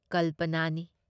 ꯀꯜꯄꯅꯥꯅꯤ ꯫